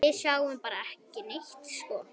Við sjáum bara neitt sko.